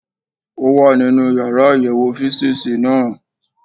Ó wà nínú yàrá àyẹ̀wò físììsì náà